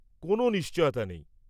কোনও নিশ্চয়তা নেই।